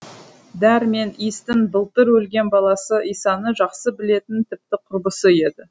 дәр мен иістің былтыр өлген баласы исаны жақсы білетін тіпті құрбысы еді